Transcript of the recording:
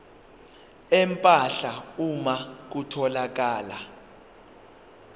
empahla uma kutholakala